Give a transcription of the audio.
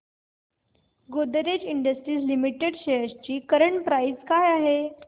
Godrej industries limited shares ची current price काय आहे